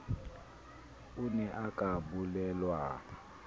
o ne a ka bellaellwa